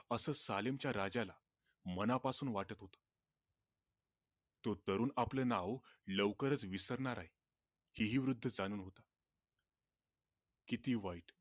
असं सालेमच्या राजाला मनापासून वाटत होत तो तरुण आपल नाव लवकरच विसरणार आहे हेही वृद्ध जाणून होता किती वाईट